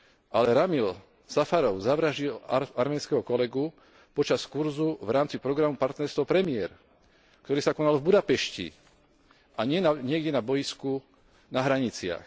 Ale Ramil Safarov zavraždil arménskeho kolegu počas kurzu v rámci programu Partnerstvo pre mier, ktoré sa konalo v Budapešti, a nie niekde na bojisku na hraniciach.